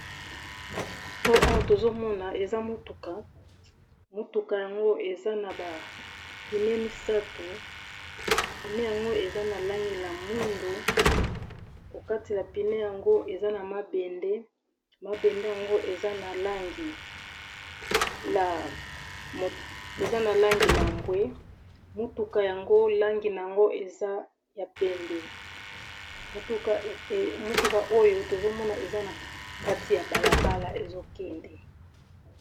O Awa tozomona eza mutuka ,mutuka yango eza naba pines misatu pine yango eza nalangi ya mwindu nakati ya pine nango eza na mabende pe ezanalangi ya mbwe mutuka yango ezanalangi ya pembe mutuka oyo eza nakati ya balabala ezokende